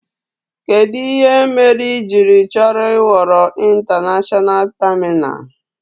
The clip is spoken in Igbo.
Kedu ihe mere ị jiri chọrọ ị ghọrọ ịntanashọna tamina?